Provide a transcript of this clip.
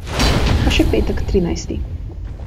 Pa še petek trinajsti.